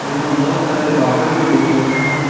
हमें बहुत सारे बादल भी दिख रहे है।